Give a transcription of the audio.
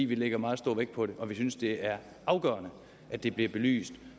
vi lægger meget stor vægt på det og synes det er afgørende at det bliver belyst